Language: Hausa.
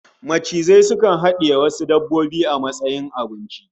Macizai sukan hadiye wasu dabbobin a matsayin abinci